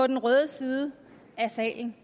den røde side af salen